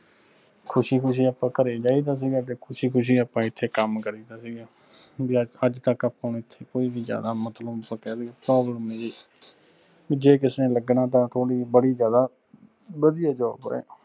ਖੁਸ਼ੀ ਖੁਸ਼ੀ ਆਪਾਂ ਘਰੇ ਜਾਇਦਾ ਸੀਗਾ ਤੇ ਖੁਸ਼ੀ ਖੁਸ਼ੀ ਆਪਾਂ ਐਥੇ ਕਮ ਕਰਿ ਦਾ ਸੀਗਾ ਅੱਜ ਤਕ ਆਪਾਂ ਨੂੰ ਐਥੇ ਕੋਈ ਵੀ ਜ਼ਿਆਦਾ problem ਨਹੀਂ ਰਹੀ ਜੇ ਕਿਸੇ ਨੇ ਲੱਗਣਾ ਤਾਂ ਬੜੀ ਜ਼ਿਆਦਾ ਵਧਿਆ job ਆ।